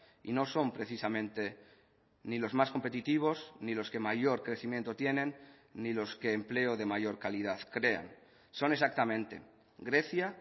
y no son precisamente ni los más competitivos ni los que mayor crecimiento tienen ni los que empleo de mayor calidad crean son exactamente grecia